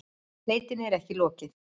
Leitinni er ekki lokið